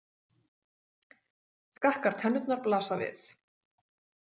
Skakkar tennurnar blasa við.